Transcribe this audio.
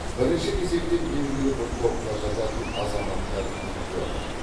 бірінші кезекте белгілі бір топқа жататын азаматтар екпе алады